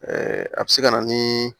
a bɛ se ka na ni